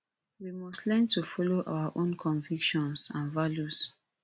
we must learn to follow our own convictions and values